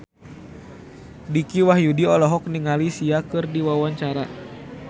Dicky Wahyudi olohok ningali Sia keur diwawancara